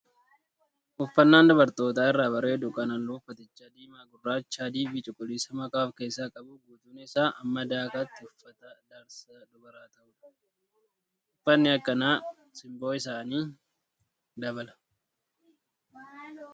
Uffannaan dubartoota irraa bareedu kan halluun uffatichaa diimaa, gurracha, adii fi cuquliisa makaa of keessaa qabuu fi guutuun isaa hamma dakaatti uffata darsa dubaraa ta'udha. Uffanni akkanaa simboo isaanii dabala.